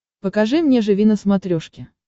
покажи мне живи на смотрешке